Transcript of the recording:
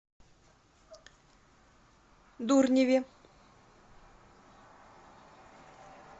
дурневе